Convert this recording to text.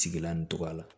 Sigilan nin tɔgɔ la